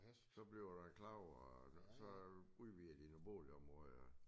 Så bliver det klappet og så udvider de noget bålområde og